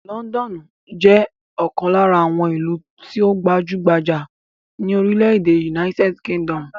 Lọ́ńdọ́nù jẹ́ ọ̀kan lára àwọn ìlú tó gbajú-gbajà ní orílẹ̀-èdè United Kingdom.